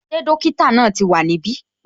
Ṣé dókítà náà wá ní ibi?